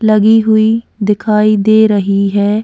लगी हुई दिखाई दे रही है।